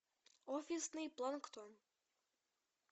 офисный планктон